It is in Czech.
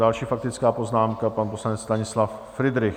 Další faktická poznámka, pan poslanec Stanislav Fridrich.